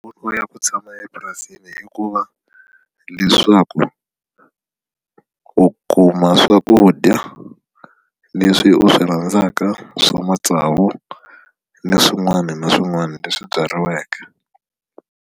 Nkoka ya ku tshama epurasini i ku va leswaku u kuma swakudya leswi u swi rhandzaka swa matsavu ni swin'wana na swin'wana leswi byariweke.